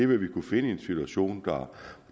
hvad vi kunne finde i en situation